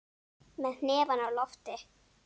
Með hnefann á lofti.